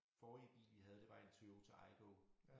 Forrige bil vi havde det var en Toyota Aygo